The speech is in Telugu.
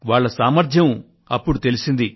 వాళ్ళ సామర్థ్యం అప్పుడు తెలిసింది